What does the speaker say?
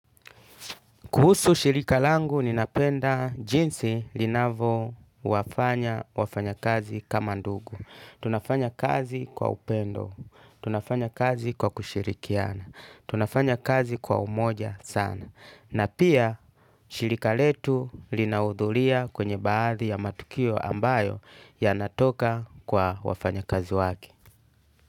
Kuhusu shirika langu ninapenda jinsi linavowafanya wafanyakazi kama ndugu. Tunafanya kazi kwa upendo. Tunafanya kazi kwa kushirikiana. Tunafanya kazi kwa umoja sana. Na pia shirika letu linaudhuria kwenye baadhi ya matukio ambayo yanatoka kwa wafanyakazi wake.